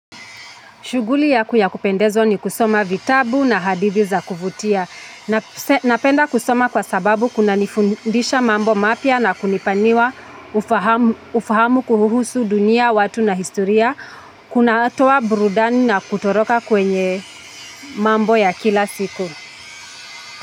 Shuguli yaku yakupendezwa ni kusoma vitabu na hadidhi za kuvutia. Napenda kusoma kwa sababu kuna nifundisha mambo mapya na kunipaniwa ufahamu kuuhusu dunia, watu na historia. Kunatoa burudani na kutoroka kwenye mambo ya kila siku.